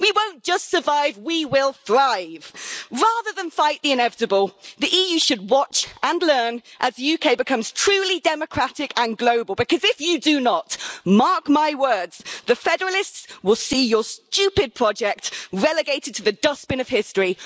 We won't just survive we will thrive. Rather than fight the inevitable, the EU should watch and learn as the UK becomes truly democratic and global, because if you do not mark my words the federalists will see your stupid project relegated to the dustbin of history.